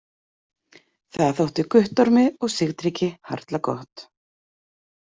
Það þótti Guttormi og Sigtryggi harla gott.